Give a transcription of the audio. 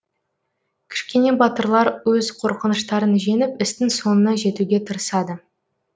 кішкене батырлар өз қорқыныштарын жеңіп істің соңына жетуге тырысады